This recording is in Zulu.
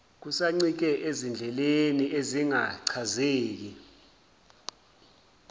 kusancike ezindleleni ezingachazeki